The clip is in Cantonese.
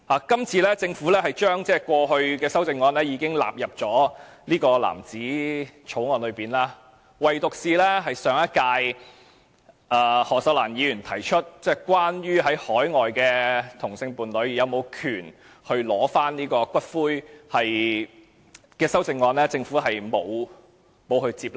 今次政府把過去大部分修正案都納入藍紙草案，唯獨是上屆的何秀蘭議員提出有關海外同性伴侶是否有權取回其伴侶骨灰的修正案，政府並沒有接納。